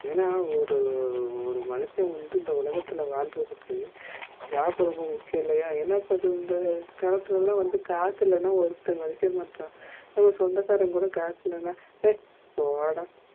ஏனா ஒரு ஒரு மனுஷன் வந்து இந்த உலகத்துல வாழுறதுக்கு job ரொம்ப முக்கியம் இல்லையா? என்ன பண்ணுறது இந்த காலத்துல காசு இல்லாம ஒருத்தன் மதிக்க மாட்டங்குறா நம்ப சொந்த காரன்கூட காசு இல்லனா hey போடா